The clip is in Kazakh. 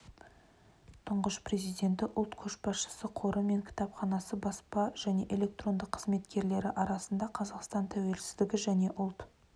тұңғыш президенті ұлт көшбасшысы қоры мен кітапханасы баспа және электронды қызметкерлері арасында қазақстан тәуелсіздігі және ұлт